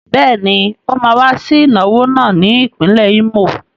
Bẹ́ẹ̀ ni, ó máa wá sí ìnáwó náà ní ìpínlẹ̀ Ímò.